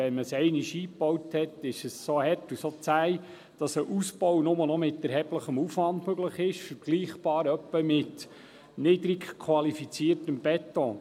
Wenn man es einmal eingebaut hat, ist es so hart und zäh, dass ein Ausbau nur noch mit erheblichem Aufwand möglich ist, vergleichbar ungefähr mit niedrig qualifiziertem Beton.